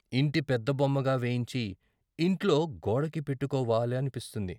ఇంటి పెద్దబొమ్మగా వేయించి ఇంట్లో గోడకి పెట్టుకోవా అనిపిస్తుంది.